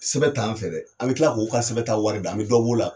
Sɛbɛ t'an fɛ dɛ an bɛ tila k'u ka sɛbɛn ta warida an be dɔ b'ola